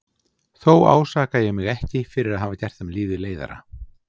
Þó ásaka ég mig ekki fyrir að hafa gert þeim lífið leiðara.